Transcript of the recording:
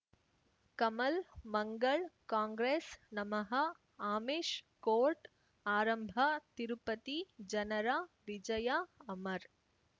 ಕಮಲ್ ಮಂಗಳ್ ಕಾಂಗ್ರೆಸ್ ನಮಃ ಅಮಿಷ್ ಕೋರ್ಟ್ ಆರಂಭ ತಿರುಪತಿ ಜನರ ವಿಜಯ ಅಮರ್